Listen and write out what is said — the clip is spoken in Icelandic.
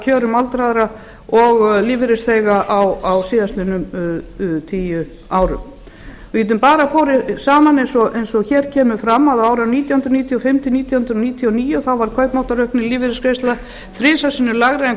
kjörum aldraðra og lífeyrisþega á síðustu tíu árum við getum borið það saman eins og hér kemur fram að á árunum nítján hundruð níutíu og fimm til nítján hundruð níutíu og níu var kaupmáttaraukning lífeyrisgreiðslna þrisvar sinnum lægri en